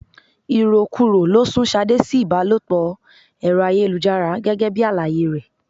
Irokuro ló sun Ṣadé sí ibalopo Ẹ̀rọ ayélujára gẹ́gẹ́ bí àlàyé rẹ.